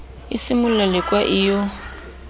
e simolla lekwa e yo